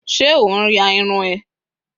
se on ya irun eee?